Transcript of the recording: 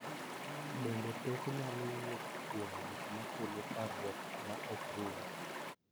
Bende, pek nyalo wuok kuom gik ma kelo parruok ma ok rum,